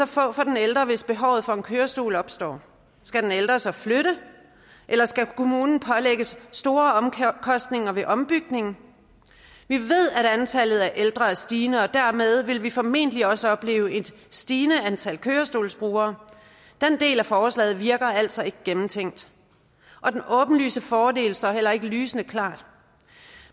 få for den ældre hvis behovet for en kørestol opstår skal den ældre så flytte eller skal kommunen pålægges store omkostninger ved ombygning vi ved at antallet af ældre er stigende og dermed vil vi formentlig også opleve et stigende antal kørestolsbrugere den del af forslaget virker altså ikke gennemtænkt og den åbenlyse fordel står heller ikke lysende klart